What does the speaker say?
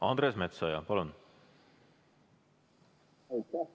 Andres Metsoja, palun!